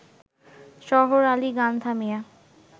শহর আলি গান থামিয়ে